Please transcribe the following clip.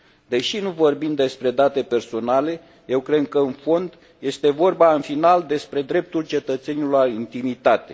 Deși nu vorbim despre date personale, eu cred că, în fond, este vorba în final despre dreptul cetățenilor la intimitate.